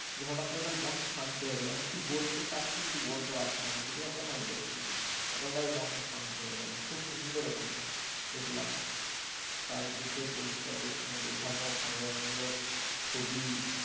যে হটাৎ করে দেখলাম মন শান্ত হয়ে গেলো। মানে কিছু বলতে চাইছি কিন্তু বলতে পারছি না মুখ দিয়ে কথা বেরোচ্ছে না। এতটাই মনটা শান্ত হয়ে গেলো খুব সুন্দর ওখানে দেখলাম। চারিদিকে পরিষ্কার পরিচ্ছন্ন গোছানো স্বামী বিবেকানন্দর ছবি